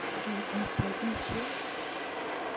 ingen ichopishe?